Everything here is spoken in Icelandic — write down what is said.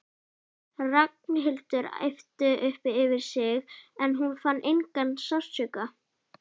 Ragnhildur æpti upp yfir sig en hún fann engan sársauka.